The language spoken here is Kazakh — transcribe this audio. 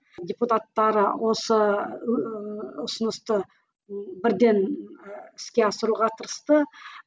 депутаттары осы ыыы ұсынысты бірден ы іске асыруға тырысты